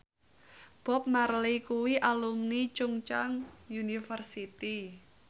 Bob Marley kuwi alumni Chungceong University